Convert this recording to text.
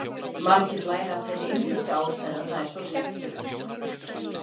Margir læra af þeirri einföldu ástæðu að það er svo skemmtilegt!